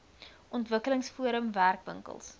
ontwikkelings forum werkwinkels